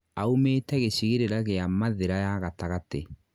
aumĩte gĩcigĩrĩra gĩa mathira ya gatagatĩ